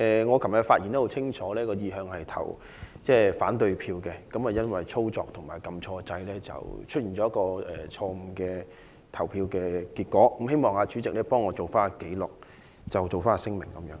我昨天的發言很清楚，我的意向是投反對票，但因為在操作上按錯按鈕，所以出現了錯誤的投票結果，希望代理主席將我的聲明記錄在案。